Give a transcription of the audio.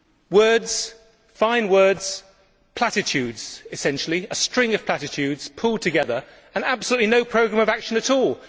Words, fine words, platitudes, essentially a string of platitudes pulled together, and absolutely no programme of action at all.